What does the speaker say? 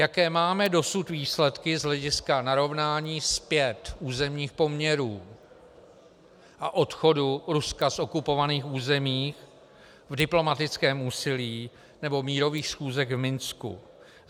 Jaké máme dosud výsledky z hlediska narovnání zpět územních poměrů a odchodu Ruska z okupovaných území v diplomatickém úsilí nebo mírových schůzkách v Minsku?